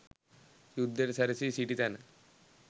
යුද්ධයට සැරැසී සිටි තැන